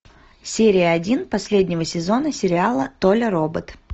серия один последнего сезона сериала толя робот